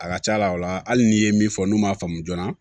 A ka ca la o la hali n'i ye min fɔ n'u m'a faamu joona